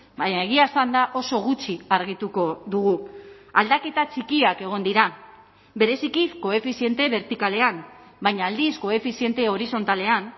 baina egia esanda oso gutxi argituko dugu aldaketa txikiak egon dira bereziki koefiziente bertikalean baina aldiz koefiziente horizontalean